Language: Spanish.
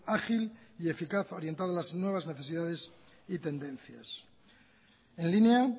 ágil y eficaz orientada a las nuevas necesidades y tendencias en línea